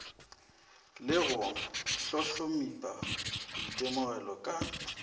le go hlohlomipa boitemogelo ka